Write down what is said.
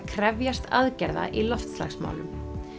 krefjast aðgerða í loftslagsmálum